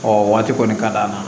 Ɔ waati kɔni ka d'a ma